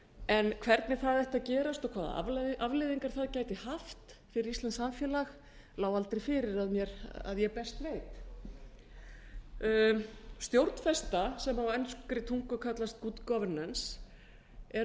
en hvernig það ætti að gerast og hvaða afleiðingar það gæti haft fyrir íslenskt samfélag lá aldrei fyrir að ég best veit stjórnfesta sem á enskri tungu kallast good governance er